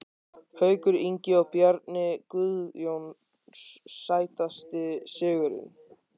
Haukur Ingi og Bjarni Guðjóns Sætasti sigurinn?